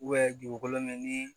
dugukolo mɛ ni